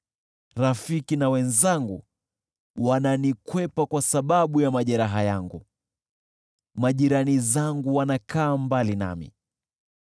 Rafiki na wenzangu wananikwepa kwa sababu ya majeraha yangu; majirani zangu wanakaa mbali nami.